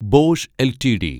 Bosch LTD